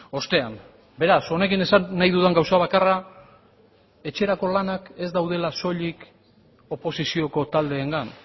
ostean beraz honekin esan nahi dudan gauza bakarra etxerako lanak ez daudela soilik oposizioko taldeengan